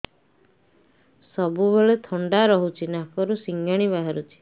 ସବୁବେଳେ ଥଣ୍ଡା ରହୁଛି ନାକରୁ ସିଙ୍ଗାଣି ବାହାରୁଚି